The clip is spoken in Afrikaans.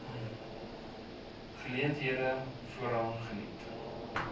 geleenthede voorrang geniet